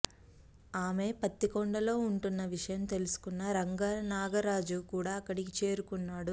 ఆమె పత్తికొండలో ఉంటున్న విషయం తెలుసుకున్న రంగనాగరాజు కూడా అక్కడికి చేరుకున్నాడు